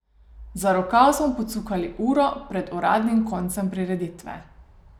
Za rokav smo jo pocukali uro pred uradnim koncem prireditve.